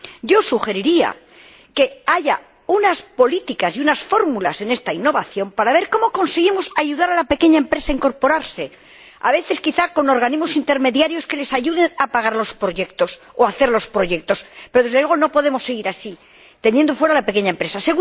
Yo sugeriría que haya unas políticas y unas fórmulas en esta innovación para ver cómo conseguimos ayudar a la pequeña empresa a incorporarse ―a veces, quizá, con organismos intermediarios que les ayuden a pagar los proyectos o a hacerlos―, pero, desde luego, no podemos seguir así, teniendo fuera a la pequeña empresa.